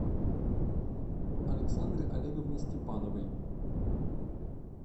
александре олеговне степановой